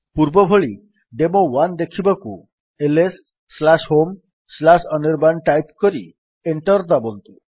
ପୂର୍ବ ଭଳି ଡେମୋ1 ଦେଖିବାକୁ lshomeଅନିର୍ବାଣ ଟାଇପ୍ କରି ଏଣ୍ଟର୍ ଦାବନ୍ତୁ